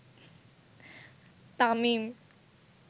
Tamim